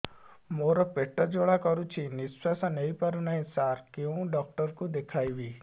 ମୋର ପେଟ ଜ୍ୱାଳା କରୁଛି ନିଶ୍ୱାସ ନେଇ ପାରୁନାହିଁ ସାର କେଉଁ ଡକ୍ଟର କୁ ଦେଖାଇବି